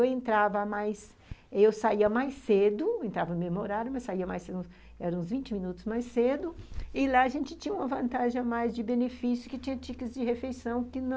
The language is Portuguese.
Eu entrava mais... Eu saía mais cedo, entrava no mesmo horário, mas saía mais cedo, eram uns vinte minutos mais cedo, e lá a gente tinha uma vantagem a mais de benefício, que tinha tíi kê tis de refeição